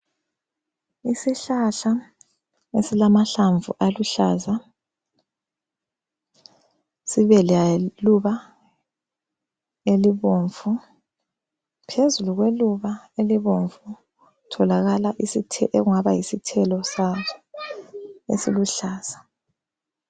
Isihlahla esilamahlamvu aluhlaza sibe leluba elibomvu. Phezulu kweluba elibomvu kutholakala okungaba yisithelo saso esiluhlaza.